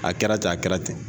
A kɛra ten a kɛra ten